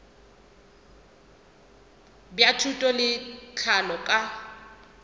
bja thuto le tlhahlo ka